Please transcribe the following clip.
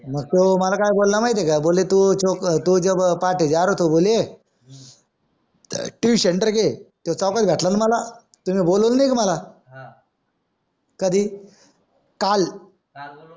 मग तो मला काय बोला माहितीत आहे का तू तुम्ही बोलावलं नाही का मला कधी काल